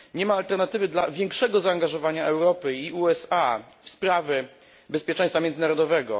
Nie ma alternatywy dla większego zaangażowania Europy i USA w sprawy bezpieczeństwa międzynarodowego.